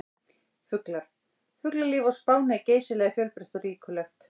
Fuglar: Fuglalíf á Spáni er geysilega fjölbreytt og ríkulegt.